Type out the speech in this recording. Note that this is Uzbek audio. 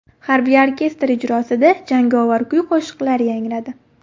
Harbiy orkestr ijrosida jangovar kuy-qo‘shiqlar yangradi.